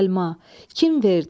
Səlma, kim verdi?